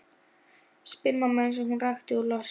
spyr mamma eins og hún rakni úr losti.